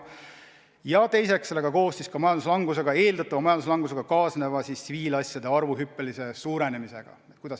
Ja teiseks, kuidas tulla toime eeldatava majanduslangusega kaasneva tsiviilasjade arvu hüppelise suurenemisega.